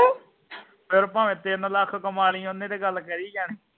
ਫਿਰ ਭਾਵੇਂ ਤਿੰਨ ਲੱਖ ਕਮਾਲੀ ਓਹਨੇ ਤੇ ਗੱਲ ਕਰੀ ਜਾਣੀ